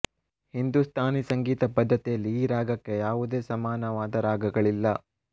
ಹಿಂದೂಸ್ತಾನಿ ಸಂಗೀತ ಪದ್ಧತಿಯಲ್ಲಿ ಈ ರಾಗಕ್ಕೆ ಯಾವೂದೇ ಸಮಾನವಾದ ರಾಗಗಳಿಲ್ಲ